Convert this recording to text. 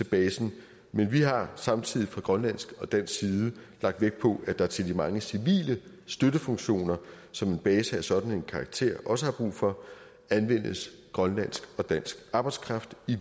basen men vi har samtidig fra grønlandsk og dansk side lagt vægt på at der til de mange civile støttefunktioner som en base af sådan en karakter også har brug for anvendes grønlandsk og dansk arbejdskraft i